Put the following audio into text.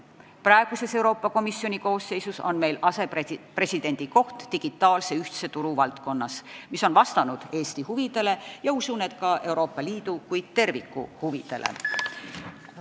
Praeguses Euroopa Komisjoni koosseisus on meil asepresidendi koht digitaalse ühtse turu valdkonnas, mis on vastanud Eesti huvidele ja usun, et ka Euroopa Liidu kui terviku huvidele.